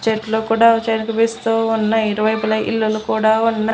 చెట్లు కుడా ఉన్నయ్ ఇరువైపుల ఇల్లులు కూడా ఉన్నయ్.